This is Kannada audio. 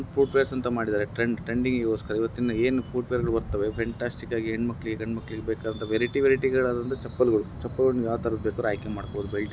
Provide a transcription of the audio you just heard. ಇಲ್ಲಿ ಫುಟ್ವೇರ್ಸ್ ಅಂತ ಮಾಡಿದ್ದಾರೆ ಟ್ರೆಂಡ ಟ್ರೆಂಡಿಂಗ್ ಗೋಸ್ಕರ ಇವತ್ತಿನ್ ದಿನ ಏನು ಪುಟ್ಟ ಬೇರೆ ಬರುತ್ತವೆ ಫೆಂಟಾಸ್ಟಿಕ್ ಗಾಗಿ ವೆರೈಟಿ ವೆರೈಟಿ ಗಳಾಗಿ ಚಪ್ಪಲ್ಗಳು ಆ ತರ ಆಯ್ಕೆ ಮಾಡಿಕೊಂಡಿದ್ದಾರೆ.